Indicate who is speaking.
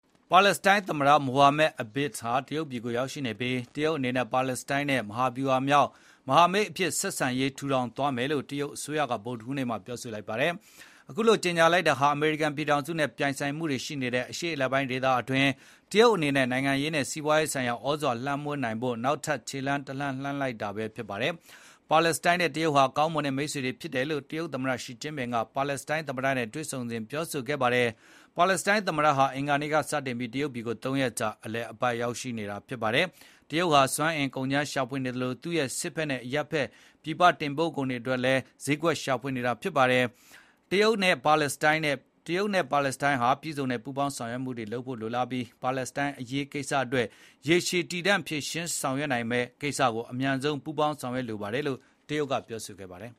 Speaker 1: ပါလက်စတိုင်းသမတ မိုဟာမက် အဘက်စ် Mohammad Abbas တရုတ်ပြည်ကိုရောက်ရှိနေပြီး၊ တရုတ်အနေနဲ့ ပါလက်စတိုင်းနဲ့မဟာဗျူဟာမြောက်မဟာမိတ်အဖြစ် ဆက်ဆံရေးထူထောင်သွားမယ်လို့ တရုတ်အစိုးရက ဗုဒ္ဓဟူးနေ့မှာပြော ဆိုလိုက်ပါတယ်။ အခုလိုကြေညာလိုက်တာဟာ အမေရိကန်ပြည်ထောင်စုနဲ့ပြိုင်ဆိုင်မှုတွေရှိနေတဲ့ အရှေ့အလယ်ပိုင်းဒေသ အတွင်းတရုတ်အနေနဲ့ နိုင်ငံရေးနဲ့စီးပွားရေးဆိုင်ရာ သြဇာလွှမ်းမိုးနိုင်ဖို့အတွက်နောက်ထပ်ခြေလှမ်း တလှမ်းလှမ်းလိုက်တာဖြစ်ပါတယ်။ ပါလက်စတိုင်းနဲ့တရုတ်ဟာ ကောင်းမွန်တဲ့မိတ်ဆွေတွေဖြစ်တယ်လို့ တရုတ်သမ္မတရှီကျင်းပင်က ပါလက်စတိုင်း သမ္မတနဲ့တွေ့ဆုံစဉ်ပြောဆိုခဲ့ပါတယ်။ ပါလက်စတိုင်းသမ္မတဟာ အင်္ဂါနေ့ကစတင်ပြီး တရုတ်ပြည်ကို ၃ ရက်ကြာအလည်အပတ်ရောက်ရှိနေတာဖြစ်ပါတယ်။ တရုတ်ဟာစွမ်းအင်ကုန်ကြမ်းရှာဖွေနေသလို သူ့ရဲ့ စစ်ဘက်နဲ့အရပ်ဖက်ဆိုင်ရာ ပြည်ပတင်ပို့ကုန်တွေ အတွက်လည်း ဈေးကွက်ရှာနေတာဖြစ်ပါတယ်။ တရုတ်အနေနဲ့ ပါလက်စတိုင်းနဲ့ ပြည့်စုံစွာ ပူးပေါင်း ဆောင်ရွက်လိုပြီး ပါလက်စတိုင်းအရေးကိစ္စအတွက် ရေရှည်တည်တန့်မယ့် ဖြေရှင်းဆောင်ရွက်မှုတွေကို အမြန်ဆုံးပူးပေါင်းဆောင်ရွက်လိုပါတယ်လို့ တရုတ်ကပြောဆိုခဲ့ပါတယ်